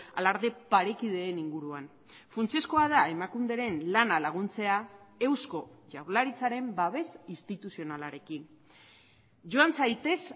alarde parekideen inguruan funtsezkoa da emakunderen lana laguntzea eusko jaurlaritzaren babes instituzionalarekin joan zaitez